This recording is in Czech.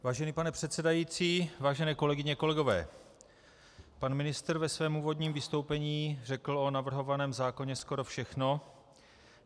Vážený pane předsedající, vážené kolegyně, kolegové, pan ministr ve svém úvodním vystoupení řekl o navrhovaném zákoně skoro všechno.